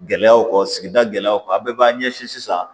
Gɛlɛyaw kɔ sigida gɛlɛyaw ka a bɛɛ b'an ɲɛsin sisan